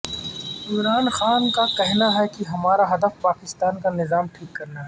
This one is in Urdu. عمران خان کا کہنا ہے کہ ہمارا ہدف پاکستان کانظام ٹھیک کرنا ہے